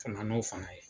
Ka na n'o fana ye